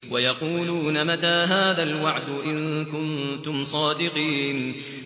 وَيَقُولُونَ مَتَىٰ هَٰذَا الْوَعْدُ إِن كُنتُمْ صَادِقِينَ